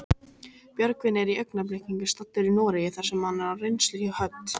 Björgvin er í augnablikinu staddur í Noregi þar sem hann er á reynslu hjá Hödd.